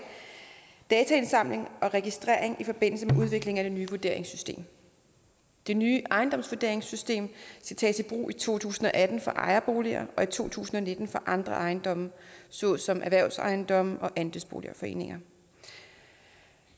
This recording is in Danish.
dataindsamling og registrering i forbindelse med udvikling af det nye vurderingssystem det nye ejendomsvurderingssystem skal tages i brug i to tusind og atten for ejerboliger og i to tusind og nitten for andre ejendomme såsom erhvervsejendomme og andelsboligforeninger